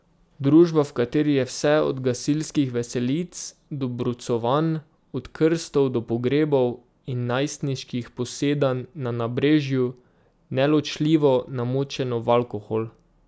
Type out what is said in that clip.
Družba, v kateri je vse, od gasilskih veselic do brucovanj, od krstov do pogrebov in najstniških posedanj na nabrežju, neločljivo namočeno v alkohol.